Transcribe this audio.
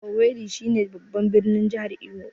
Owerri shi ne babban birnin jahar Imo